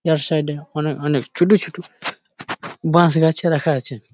ইয়ার side -এ অনেক অনেক ছোটো ছোটো বাঁশ গাছ ও রাখা আছে।